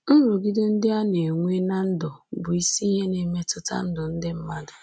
Nrụgide ndị a na-enwe ná ndụ bụ isi ihe na-emetụta ndụ ndị mmadụ